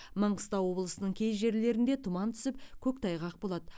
маңғыстау облысының кей жерлерінде тұман түсіп көктайғақ болады